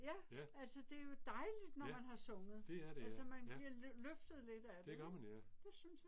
Ja. Altså det jo dejligt når man har sunget. Altså man bliver løftet lidt af det. Det synes jeg